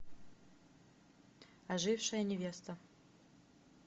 ожившая невеста